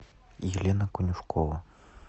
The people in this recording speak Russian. елена конюшкова